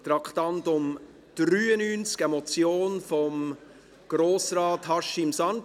Traktandum 93, eine Motion von Grossrat Haşim Sancar.